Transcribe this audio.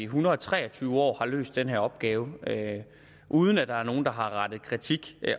hundrede og tre og tyve år har løst den her opgave uden at der er nogen der har rettet kritik